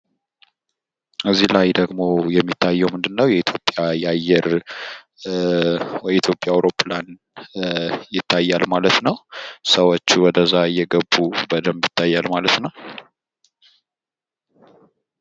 ከዚህ ላይ ደግሞ የሚታየው ምንድነው የአየር የኢትዮጵያ አይሮፕላን ይታያል ማለት ነው። ሰዎች ወደዛ እየገቡ በደንብ ይታያል ማለት ነው።